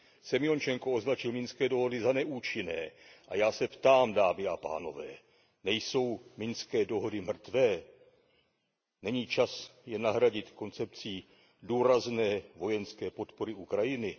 Semjončenko označil minské dohody za neúčinné a já se ptám, dámy a pánové Nejsou minské dohody mrtvé? Není čas je nahradit koncepcí důrazné vojenské podpory Ukrajiny?